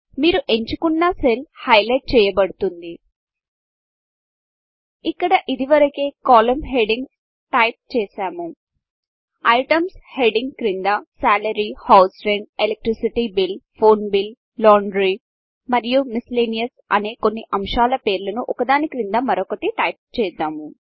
మీరు ఎంచుకున్న cell highlight చేయబడుతుంది ఇక్కడ ఇదివరకే కాలమ్ హెడింగ్స్ టైప్ చేసినము ఐటెమ్స్ హెడ్డింగ్ క్రింద salary house rent electricity bill phone bill laundry మరియు మిస్సెల్లేనియస్ అనే కొన్ని అంశాల పేర్లను ఒకదాని క్రింద మరొకటి టైప్చేద్దాము